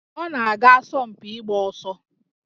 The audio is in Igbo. Ọ na-aga asọmpi ịgba ọsọ